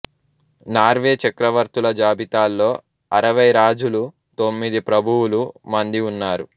Norway చక్రవర్తుల జాబితాలో అరవై రాజులు తొమ్మిది ప్రభువులు మంది ఉన్నారు